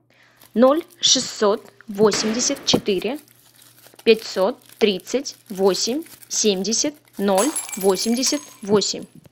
ноль шестьсот восемьдесят четыре пятьсот тридцать восемь семьдесят ноль восемьдесят восемь